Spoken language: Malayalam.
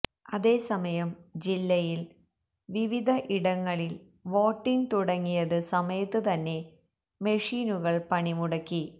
അതേ സമയം ജില്ലയിൽ വിവിധ ഇടങ്ങളിൽ വോട്ടിങ് തുടങ്ങിയത് സമയത്ത് തന്നെ മെഷീനുകൾ പണിമുടക്കി